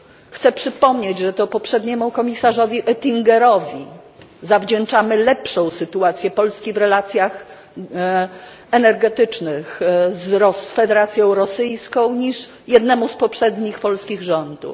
Chcę przypomnieć, że to poprzedniemu komisarzowi Oettingerowi zawdzięczamy lepszą sytuację Polski w relacjach energetycznych z Federacją Rosyjską niż jednemu z poprzednich polskich rządów.